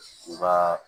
U ka